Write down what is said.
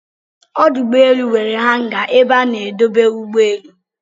Ọdụ ụgbọelụ nwere hanga ebe a na-edobe ụgbọ elu